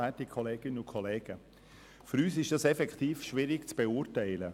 Für uns ist der Vorstoss effektiv schwierig zu beurteilen.